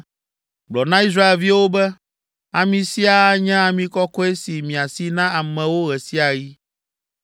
Gblɔ na Israelviwo be, ‘Ami sia anye ami kɔkɔe si miasi na amewo ɣe sia ɣi.